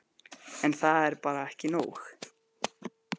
En það er bara ekki nóg.